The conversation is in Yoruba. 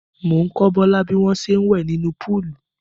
Mò ń kọ́ Bọ́lá bí wọ́n ṣe ń wẹ̀ nínú póòlù.